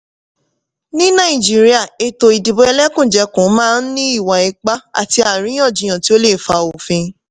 ní nàìjíríà ètò ìdìbò ẹlẹ́kùnjẹkùn máa ní ìwà ipá àti àríyànjiyàn tí ó lè fa òfin.